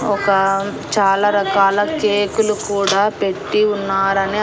ఒక చాలా రకాల కేకులు కూడా పెట్టి ఉన్నారని--